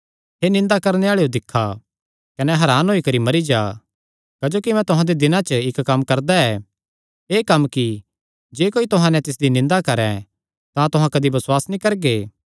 हे निंदा करणे आल़ेयो दिक्खा कने हरान होई करी मरी जा क्जोकि मैं तुहां दे दिनां च इक्क कम्म करदा ऐ एह़ कम्म कि जे कोई तुहां नैं तिसदी निंदा करैं तां तुहां कदी बसुआस नीं करगे